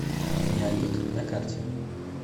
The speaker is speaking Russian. неолит на карте